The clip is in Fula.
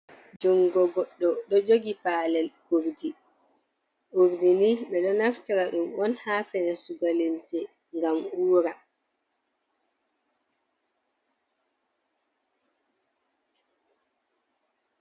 Jungo goɗɗo ɗo jogi palel urdi, urdini ɓeɗo naftara ɗum on ha fe sugo limse ngam ura.